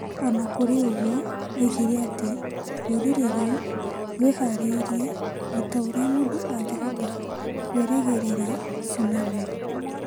O na kũrĩ ũguo, oigire atĩ rũrĩrĩ rũu rwĩhaarĩirie o ta ũrĩa mũndũ angĩhota kwĩrĩgĩrĩra tsunami.